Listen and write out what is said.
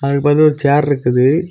அதுக்கு பக்கத்தில ஒரு சேர் ருக்குது.